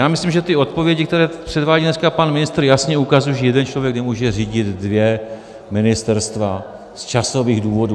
Já myslím, že ty odpovědi, které předvádí dneska pan ministr, jasně ukazují, že jeden člověk nemůže řídit dvě ministerstva z časových důvodů.